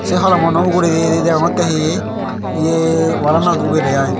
te holom uno ugure he degongotte he wall ano ugure aai.